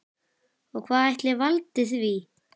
Og hvað ætli valdi því?